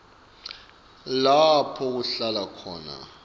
lapho kuhlala khona